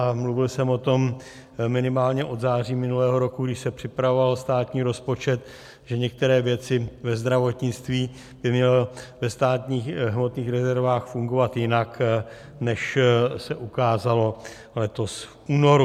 A mluvil jsem o tom minimálně od září minulého roku, když se připravoval státní rozpočet, že některé věci ve zdravotnictví by měly ve státních hmotných rezervách fungovat jinak, než se ukázalo letos v únoru.